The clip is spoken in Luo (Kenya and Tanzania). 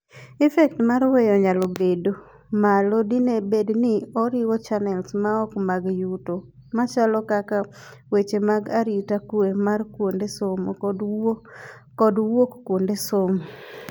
Effect mar weyo nyalo bedo malo dine bedni oriwo channels maok mag yuto machalo kaka weche mag arita kwee mar kuonde somo kod wuok kuonde somo.